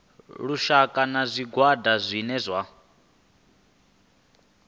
lushaka na zwigwada zwine zwa